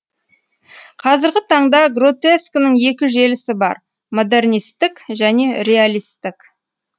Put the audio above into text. қазіргі таңда гротескінің екі желісі бар модернистік және реалистік